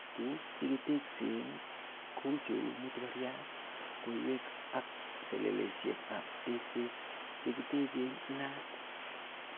Tuguk che kiteksen ko cheu matubariat, koywek ak seleleisiek ab tekset chekitechen inaat.